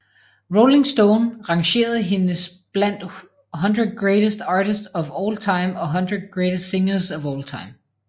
Rolling Stone rangerede hendes blandt 100 Greatest Artists of All Time og 100 Greatest Singers of All Time